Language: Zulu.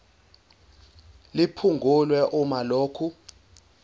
liphungulwe uma lokhu